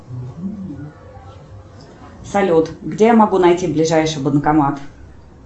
салют где я могу найти ближайший банкомат